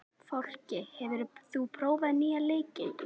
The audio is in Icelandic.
Fálki, hefur þú prófað nýja leikinn?